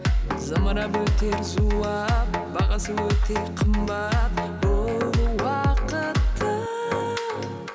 зымырап өтер зулап бағасы өте қымбат бұл уақыттың